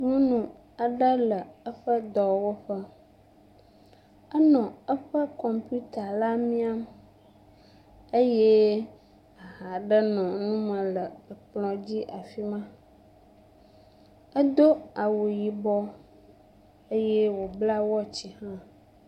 Nyɔnu aɖe le eƒe dɔwɔƒe, enɔ eƒe kɔmpita la miam, eye ha ɖe nɔnu me le kplɔ dzi le fi ma, edo awu yibɔ eye wòbla watch hã.